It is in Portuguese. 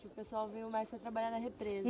que o pessoal veio mais para trabalhar na represa, is